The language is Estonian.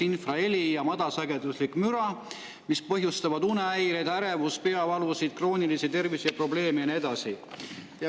Infraheli ja madalsageduslik müra põhjustavad unehäireid, ärevust, peavalu, kroonilisi terviseprobleeme ja nii edasi.